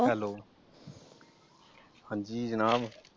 Hello ਹਾਂਜੀ ਜਨਾਬ?